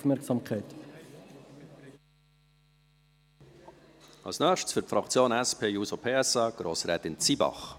Als Nächstes, für die Fraktion SP-JUSO-PSA: Grossrätin Zybach.